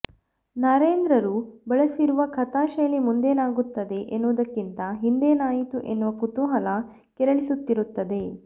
ನರೇಂದ್ರರು ಬಳಸಿರುವ ಕಥಾಶೈಲಿ ಮುಂದೇನಾಗುತ್ತದೆ ಎನ್ನುವುದಕ್ಕಿಂತ ಹಿಂದೇನಾಯಿತು ಎನ್ನುವ ಕುತೂಹಲ ಕೆರಳಿಸುತ್ತಿರುತ್ತದೆ